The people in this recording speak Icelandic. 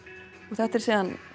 þetta er síðan